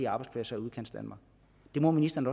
arbejdspladser i udkantsdanmark det må ministeren